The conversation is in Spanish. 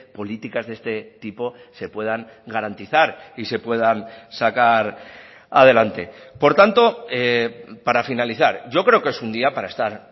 políticas de este tipo se puedan garantizar y se puedan sacar adelante por tanto para finalizar yo creo que es un día para estar